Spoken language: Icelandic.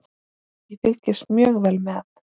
Ég fylgist mjög vel með.